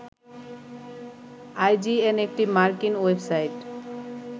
IGN একটি মার্কিন website